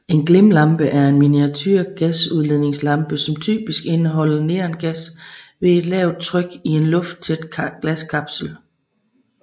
En glimlampe er en miniature gasudladningslampe som typisk indeholder neongas ved et lavt tryk i en lufttæt glaskapsel